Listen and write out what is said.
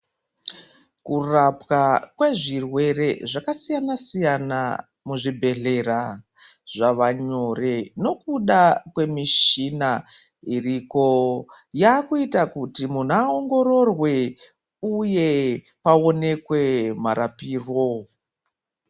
Kurapwa kwe zvirwere zvakasiyana siyana muzvibhedhlera zvava nyore nekuda kwemishina iriko yaakuita kuti muntu aongororwe uye aonekwe marapiro.